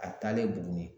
A taalen buguni